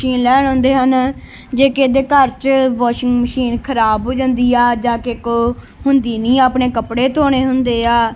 ਚੀਜ ਲੈਣ ਆਉਂਦੇ ਹਨ ਜੇ ਕਿਦੇ ਘਰ ਚ ਵਾਸ਼ਿੰਗ ਮਸ਼ੀਨ ਖਰਾਬ ਹੋ ਜਾਂਦੀ ਆ ਜਾ ਕੇ ਕੋ ਹੁੰਦੀ ਨਹੀਂ ਆਪਣੇ ਕੱਪੜੇ ਧੋਣੇ ਹੁੰਦੇ ਆ।